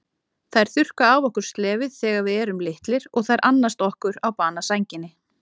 Þær þurrka af okkur slefið þegar við erum litlir og þær annast okkur á banasænginni.